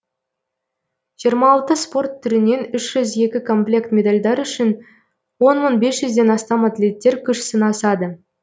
жиырма алты спорт түрінен үш жүз екі комплект медалдар үшін он мың бес жүзден астам атлеттер күш сынасады